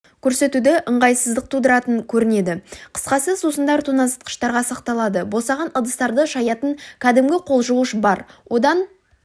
көрсетуде ыңғайсыздық тудыратын көрінеді қысқасы сусындар тоңазытқышта сақталады босаған ыдыстарды шаятын кәдімгі қолжуғыш бар одан